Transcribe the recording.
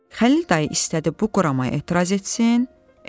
Xəlil dayı istədi bu quramaya etiraz etsin, etmədi.